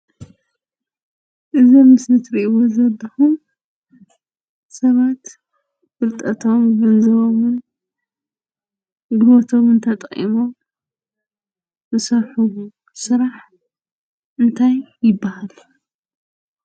እዚ ኣብ ምስሊ ትሪእዎ ዘለኹም ሰባት ፍልጠቶምን ገንዘቦምን ጉልበቶምን ተጠቒሞም ዝሰርሕዎ ስራሕ እንታይ ይበሃል?